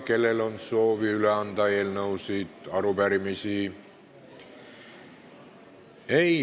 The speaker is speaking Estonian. Kellel on soovi üle anda eelnõusid või arupärimisi?